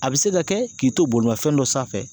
A be se ka kɛ k'i to bolimafɛn dɔ sanfɛ